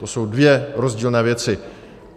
To jsou dvě rozdílné věci.